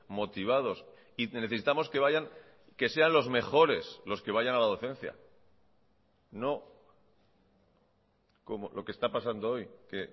motivados y necesitamos que vayan que sean los mejores los que vayan a la docencia no como lo que está pasando hoy que